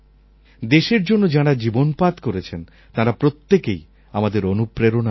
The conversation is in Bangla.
দেশের জন্য যাঁরা জীবনপাত করেছেন তাঁরা প্রত্যেকেই আমাদের অনুপ্রেরণার উৎস